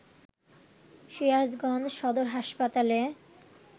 সিরাজগঞ্জ সদর হাসপাতালে